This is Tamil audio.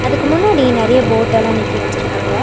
இதுக்கு முன்னாடி நெறைய போட்டல்லா நிக்க வெச்சுருக்காங்க.